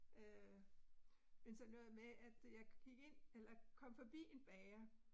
Øh men sådan noget med, at jeg gik ind, eller kom forbi en bager